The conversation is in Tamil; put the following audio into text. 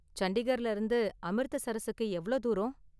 சண்டிகர்ல இருந்து அமிர்தசரஸுக்கு எவ்ளோ தூரம்?